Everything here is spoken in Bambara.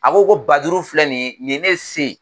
A ko ko ba duuru filɛ nin ye ni ye ne se ye.